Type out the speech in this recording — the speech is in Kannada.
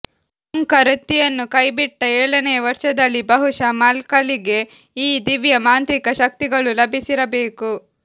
ಮಂಖ ವೃತ್ತಿಯನ್ನು ಕೈಬಿಟ್ಟ ಏಳನೆಯ ವರ್ಷದಲ್ಲಿ ಬಹುಶಃ ಮಕ್ಖಲಿಗೆ ಈ ದಿವ್ಯ ಮಾಂತ್ರಿಕ ಶಕ್ತಿಗಳು ಲಭಿಸಿರಬೇಕು